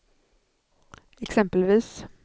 exempelvis